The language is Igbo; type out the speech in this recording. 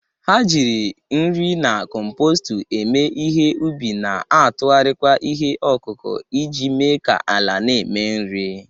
Ha jiri nri na compostu eme ihe ubi, na-atụgharịkwa ihe ọkụkụ iji mee ka ala na-eme nri.